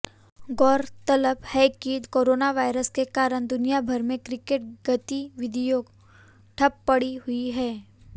गौरतलब है कि कोरोना वायरस के कारण दुनियाभर में क्रिकेट गतिविधियां ठप्प पड़ी हुई हैं